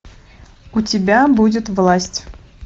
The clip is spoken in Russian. у тебя будет власть